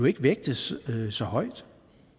ikke vægtes så højt